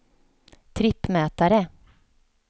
trippmätare